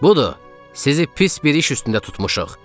Budur, sizi pis bir iş üstündə tutmuşuq.